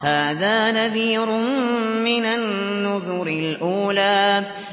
هَٰذَا نَذِيرٌ مِّنَ النُّذُرِ الْأُولَىٰ